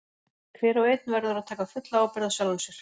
Hver og einn verður að taka fulla ábyrgð á sjálfum sér.